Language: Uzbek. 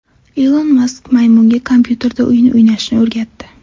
Ilon Mask maymunga kompyuterda o‘yin o‘ynashni o‘rgatdi.